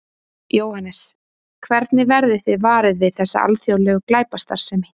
Jóhannes: Hvernig verðið þið varir við þessa alþjóðlegu glæpastarfsemi?